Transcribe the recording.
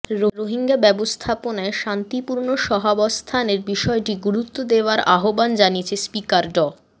রোহিঙ্গা ব্যবস্থাপনায় শান্তিপূর্ণ সহাবস্থানের বিষয়টি গুরুত্ব দেওয়ার আহ্বান জানিয়েছেন স্পিকার ড